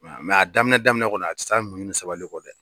a daminɛ daminɛ kɔni a tɛ taa muɲu ni sabali kɔ dɛ